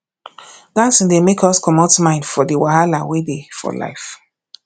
dancing dey make us comot mind for di wahala wey dey for life